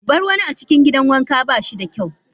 Bar wani a cikin gidan wanka ba shi da kyau.